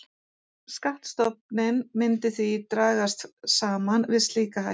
Skattstofninn myndi því dragast saman við slíka hækkun.